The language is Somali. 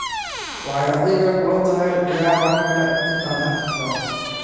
Waxay adiga kula tahay ciyaar oo kale inta aan arki karo.